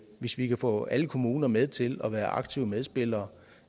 hvis vi kan få alle kommuner med til at være aktive medspillere